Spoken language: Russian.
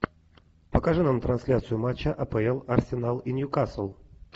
покажи нам трансляцию матча апл арсенал и ньюкасл